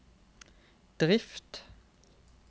drift